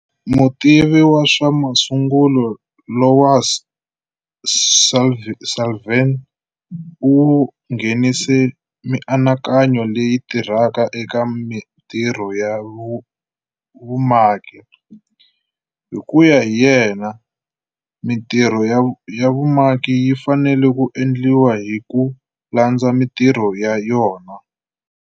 Mutivi wa swa masungulo Louis Sulivan u nghenise mianakanyo leyi tirhaka eka mintirho ya vumaki. Hi ku ya hi yena, mintirho ya vumaki yi fanele ku endliwa hi ku landza mintirho ya yona.